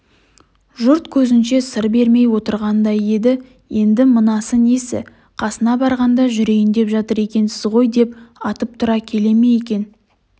жұрт көзінше сыр бермей отырғандай еді енді мынасы несі қасына барғанда жүрейін деп жатыр екенсіз ғой деп атып тұра келе ме екен